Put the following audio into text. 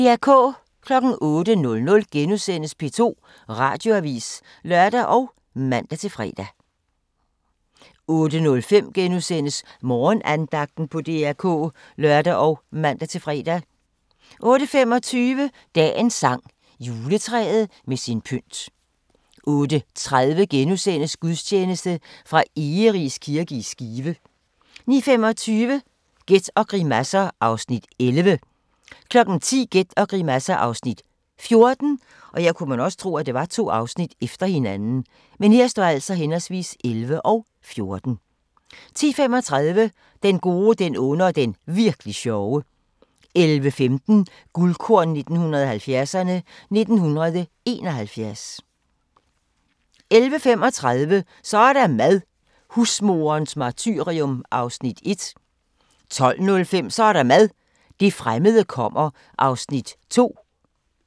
08:00: P2 Radioavis *(lør og man-fre) 08:05: Morgenandagten på DR K *(lør og man-fre) 08:25: Dagens sang: Juletræet med sin pynt 08:30: Gudstjeneste fra Egeris kirke i Skive * 09:25: Gæt og grimasser (Afs. 11) 10:00: Gæt og grimasser (Afs. 14) 10:35: Den gode, den onde og den virk'li sjove 11:15: Guldkorn 1970'erne: 1971 11:35: Så er der mad – husmoderens martyrium (1:5) 12:05: Så er der mad – det fremmede kommer (2:5)